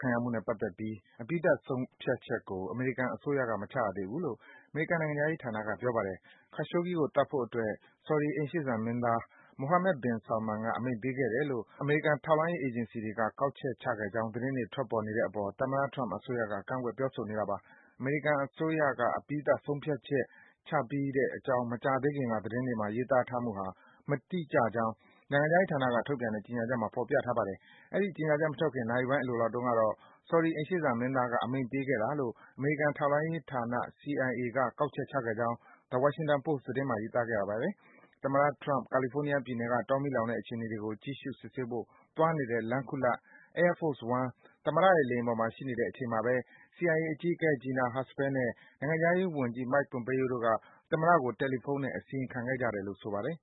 ခံရမှုနဲ့ပတ်သက်တဲ့ အပြီးသတ် ဆုံးဖြတ်ချက်ကို အမေရိကန်အစိုးရက မချရသေးဘူးလို့ အမေရိကန်နိုင်ငံခြားရေးဌာနက ပြောပါတယ်။ Khashoggi ကို သတ်ဖို့အတွက် ဆော်ဒီ အိမ်ရှေ့စံမင်းသား Mohammed bin Salman က အမိန့်ပေးခဲ့တယ်လို့ အမေရိကန် ထောက်လှမ်းရေးအေဂျင်စီတွေက ကောက်ချက် ချခဲ့ကြောင်း သတင်းတွေ ထွက်ပေါ်နေတဲ့အပေါ် သမ္မတ Donald Trump အစိုးရက ကန့်ကွက် ပြောဆိုနေတာပါ။ အမေရိကန်အစိုးရက အပြီးသတ် ဆုံးဖြတ်ချက် ချပြီးတဲ့အကြောင်း မကြာသေးခင်က သတင်းတွေမှာ ရေးသားထားမှုဟာ မတိကျကြောင်း နိုင်ငံခြားရေးဌာနက ထုတ်ပြန်တဲ့ ကြေညာချက်မှာ ဖော်ပြထားပါတယ်။ အဲဒီကြေညာချက်မထွက် နာရီပိုင်းအလိုလောက်တုန်းကတော့ ဆော်ဒီ အိမ်ရှေ့စံမင်းသားက အမိန့်ပေးခဲ့တာလို့ အမေရိကန်ထောက်လှမ်းရေဌာန CIA က ကောက်ချက်ချခဲ့ကြောင်း The Washington Post သတင်းစာမှာ ရေးသားခဲ့တာပါ။ သမ္မတ Trump ကာလီဖိုးနီးယားပြည်နယ်က တောမီးလောင်နေတဲ့အခြေအနေတွေကို ကြည့်ရှု စစ်ဆေးဖို့ သွားနေတဲ့ လမ်းခုလပ် Air Force One သမ္မတရဲ့ လေယာဉ်ပေါ်မှာ ရှိနေတဲ့အချိန်မှာဘဲ CIA အကြီးအကဲ Gina Haspel နဲ့ နိုင်ငံခြားရေးဝန်ကြီး Mike Pompeo တို့က သမ္မတကို တယ်လီဖုန်းနဲ့ အစီရင်ခံခဲ့ကြတယ်လို့ ဆိုပါတယ်